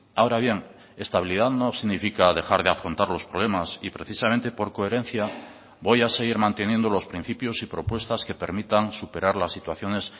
ahora bien estabilidad no significa dejar de afrontar los problemas y precisamente por coherencia voy a seguir manteniendo los principios y propuestas que permitan superar las situaciones